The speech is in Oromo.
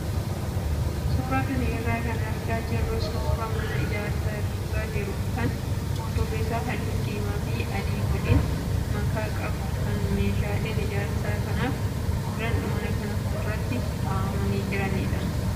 Suuraa kana irraa kan argaa jirru suuraa mana ijaarsa irra jiru kan fuuldurri isaa halluu diimaa fi adii waliin makaa qabu kan meeshaaleen ijaarsa kanaaf oolan mana kana fuulduratti kaa'amanii jiranidha.